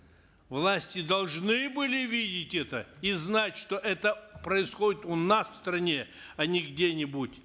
власти должны были видеть это и знать что это происходит у нас в стране а не где нибудь